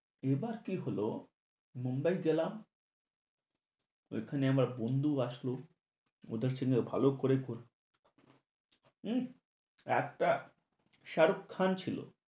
এবার কি হলো, মুম্বাই গেলাম। ঐখানে আমার বন্ধু আসলো, ওদের সঙ্গে ভালো করে ক~ একটা শাহরুখ খান ছিলো।